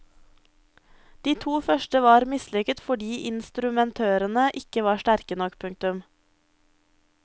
De to første var mislykket fordi instrumentrørene ikke var sterke nok. punktum